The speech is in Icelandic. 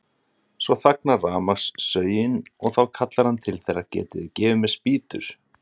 Svo þagnar rafmagnssögin og þá kallar hann til þeirra: Getið þið gefið mér spýtur?